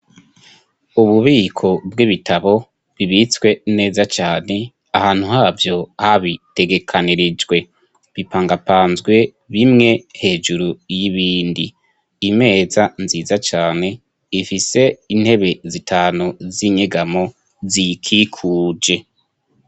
Ububiko bw'ibitabo bibitswe neza cane ahantu havyo habitegekanirijwe, bipangapanzwe bimwe hejuru y'ibindi, imeza nziza cane ifise intebe zitanu z'inyegamo ziyikikuje.